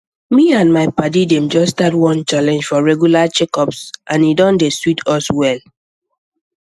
me and my padi dem just start one challenge for regular checkups and e don dey sweet us well